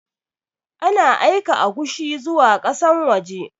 Ana aika agushi zuwa ƙasan waje